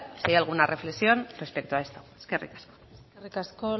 si hay alguna reflexión respecto a esto eskerrik asko eskerrik asko